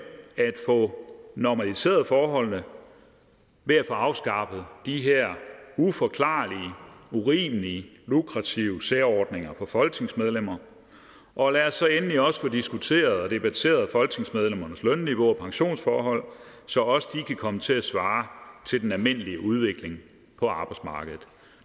at få normaliseret forholdene ved at få afskaffet de her uforklarlige urimelige lukrative særordninger for folketingsmedlemmer og lad os så endelig også få diskuteret og debatteret folketingsmedlemmernes lønniveau og pensionsforhold så også de kan komme til at svare til den almindelige udvikling på arbejdsmarkedet